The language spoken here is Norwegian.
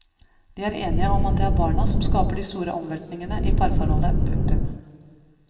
De er enige om at det er barna som skaper de store omveltningene i parforholdet. punktum